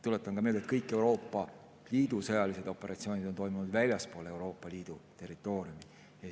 Tuletan ka meelde, et kõik Euroopa Liidu sõjalised operatsioonid on toimunud väljaspool Euroopa Liidu territooriumi.